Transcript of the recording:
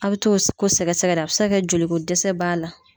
A bɛ t'o ko sɛgɛsɛgɛ de a bɛ se ka joliko dɛsɛ b'a la